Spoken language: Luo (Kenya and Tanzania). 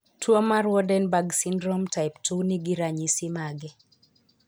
Tuo mar Waardenburg syndrome type 2 ni gi ranyisi mage?